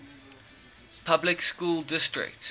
public school district